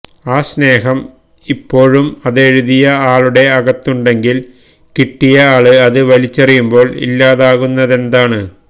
ആ സ്നേഹം ഇപ്പോഴും അതെഴുതിയ ആളുടെ അകത്തുണ്ടെങ്കില് കിട്ടിയ ആള് അത് വലിച്ചെറിയുമ്പോള് ഇല്ലാതാകുന്നതെന്താണ്